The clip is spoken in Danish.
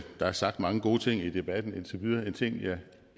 der er sagt mange gode ting i debatten indtil videre en ting jeg